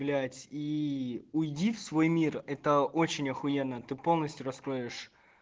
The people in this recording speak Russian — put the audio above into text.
блять и уйди в свой мир это очень ахуенно ты полностью раскроешь